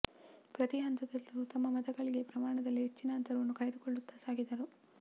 ಪ್ರತಿ ಹಂತದಲ್ಲೂ ತಮ್ಮ ಮತ ಗಳಿಕೆ ಪ್ರಮಾಣದಲ್ಲಿ ಹೆಚ್ಚಿನ ಅಂತರವನ್ನು ಕಾಯ್ದುಕೊಳ್ಳುತ್ತಾ ಸಾಗಿದರು